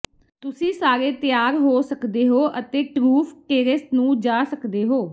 ਤੁਸੀਂ ਸਾਰੇ ਤਿਆਰ ਹੋ ਸਕਦੇ ਹੋ ਅਤੇ ਟਰੂਫ ਟੇਰੇਸ ਨੂੰ ਜਾ ਸਕਦੇ ਹੋ